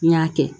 N y'a kɛ